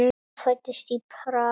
Hann fæddist í Prag.